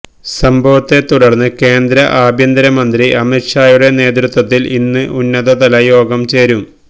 സംഭവത്ത തുടര്ന്ന് കേന്ദ്ര ആഭ്യന്തര മന്ത്രി അമിത് ഷായുടെ നേതൃത്വത്തില് ഇന്ന് ഉന്നതതല യോഗം ചേരും